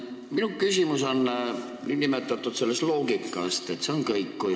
Minu küsimus on selle nn loogika kohta.